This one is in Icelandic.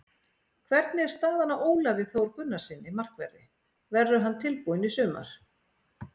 Hvernig er staðan á Ólafi Þór Gunnarssyni, markverði, verður hann tilbúinn í sumar?